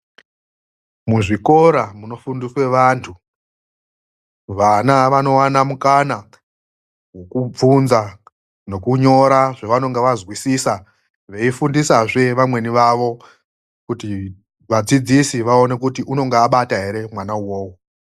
Muzvikora munofundiswa vantu vana vonowana mukana wekubvunza nokunyora zvavanonge vanzwisisa mudzidzisi veyi fundisa zve vamweni vavo kuti vadzidzisi vaone kuti anenge abata here mwana uwowo.